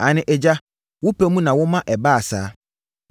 Aane, Agya, wo pɛ mu na woma ɛbaa saa.